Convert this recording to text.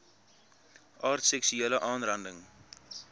aard seksuele aanranding